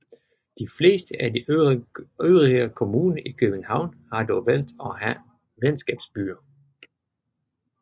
De fleste af de øvrige kommuner i København har dog valgt at have venskabsbyer